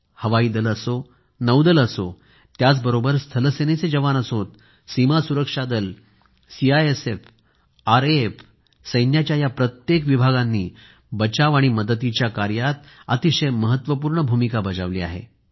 हवाई दल असो नौदल असो त्याचबरोबर स्थलसेनेचे जवान असो सीमा सुरक्षा दल सीआयएसएफ आरएएफ सैन्याच्या या प्रत्येक विभागांनी बचाव आणि मदतीच्या कार्यात अतिशय महत्वपूर्ण भूमिका बजावली आहे